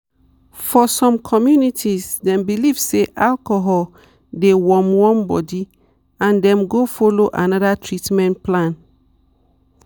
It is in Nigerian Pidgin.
for some communities dem believe say alcohol dey warm warm body and dem go follow another treatment plan.